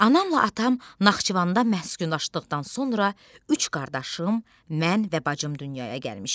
Anamla atam Naxçıvanda məskunlaşdıqdan sonra üç qardaşım, mən və bacım dünyaya gəlmişik.